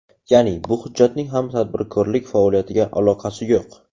Ya’ni, bu hujjatning ham tadbirkorlik faoliyatiga aloqasi yo‘q.